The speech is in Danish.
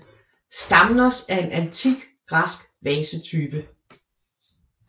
Stamnos er en antik græsk vasetype